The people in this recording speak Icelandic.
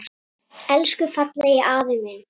Elsku fallegi afi minn.